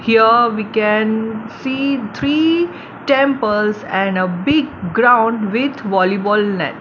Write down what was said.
here we can see three temples and a big ground with volleyball net.